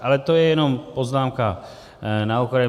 Ale to je jenom poznámka na okraj.